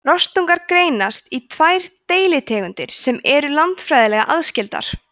rostungar greinast í tvær deilitegundir sem eru landfræðilega aðskildar